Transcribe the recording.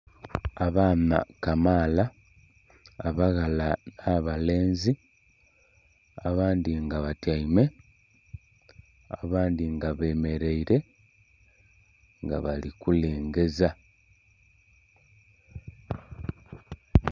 Abaana kamaala abaghala n'abalenzi abandhi nga batyaime abandhi nga bemeraire nga bali kulengeza.